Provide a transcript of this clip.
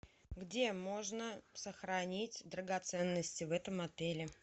где можно сохранить драгоценности в этом отеле